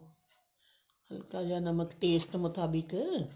ਹਲਕਾ ਜਾ ਨਮਕ taste ਮੁਤਾਬਿਕ